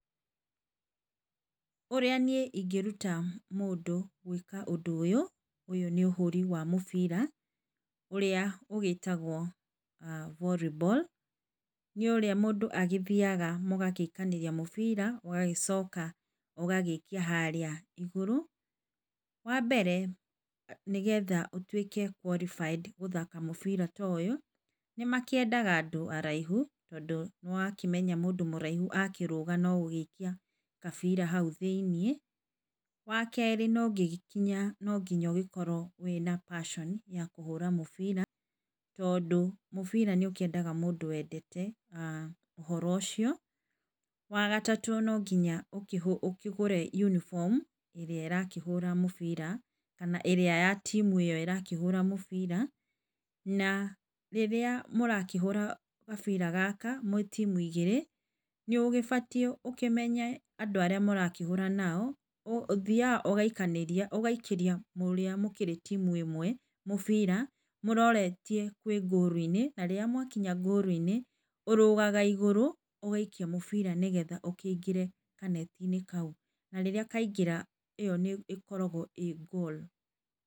Ũrĩa niĩ ingĩruta mũndũ gwĩka ũndũ ũyũ. Ũyũ nĩ ũhũri wa mũbira, ũrĩa ũgĩtagwo ah volleyball nĩ ũrĩa mũndũ athiaga mũgagĩikanĩria mũbira ũgagĩcoka ũgaikia harĩa igũrũ. Wa mbere, nĩgetha ũgĩtuĩke qualified gũthaka mũbira ta ũyũ nĩmakĩendaga andũ araihu, tondũ nĩ wakĩmenya mũndũ mũraihu akĩrũga nogũikia kabira hau thĩiniĩ. Wakere nonginya ũgĩkorwo wĩna passion ya kũhũra mũbira, tondũ mũbira nĩũkĩendete mũndũ wendete, ũhoro ũcio, wagatatũ nonginya ũkĩgũre uniform Ĩrĩa ĩrakĩhura mũbira kana ĩrĩa ya team ĩrĩa ĩrakĩhũra mũbira, na rĩrĩa mũrakĩhũra mũbira kabira gaka mwĩ timu igĩrĩ, nĩ ũgĩbatiĩ ũmenye andũ arĩa mũrakĩhũra nao. Ũthiaga ũgaikanĩria ũgaikĩria ũrĩa mũkĩrĩ timu ĩmwe mũbira, mũroretie kwĩ [goal] -inĩ na rĩrĩa mwagĩkinya ngũru-inĩ, ũrũgaga na igũrũ ũgaikia mũbira na igũrũ nĩguo ũkĩingĩre kanetinĩ kau. Na rĩrĩa kaingĩra ĩo nĩ ĩkoragwo ĩ goal.